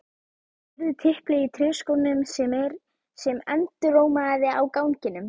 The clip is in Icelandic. Heyrði tiplið í tréskónum sem endurómaði á ganginum.